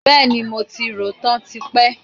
Bẹẹni, mo ti rò ó tán tipẹ́